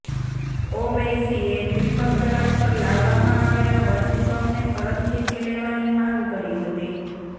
ઓવૈસીએ triple તલાક પર લાવવામાં આવેલા વટહુકમને પરત ખેંચી લેવાની માંગ કરી હતી